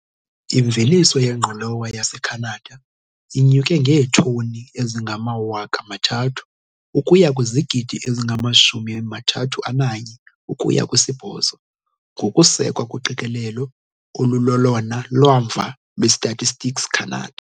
Imveliso yengqolowa yaseCanada inyuke ngeetoni ezingama-300,000 ukuya kwizigidi ezingama-31,8, ngokusekwa kuqikelelo olulolona lwamva lweStatistics Canada.